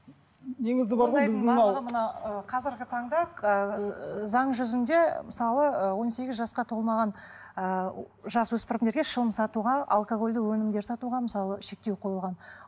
негізі бар ғой қазіргі таңда ыыы заң жүзінде мысалы ы он сегіз жасқа толмаған ыыы жасөспірімдерге шылым сатуға алкогольді өнімдер сатуға мысалы шектеу қойылған